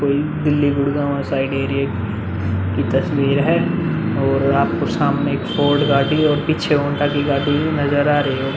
कोई Delhi Gurgaon side area की तस्वीर है और आपको सामने एक फोर्ड गाड़ी और पीछे हौंडा की गाड़ी नजर आ रही होगी ।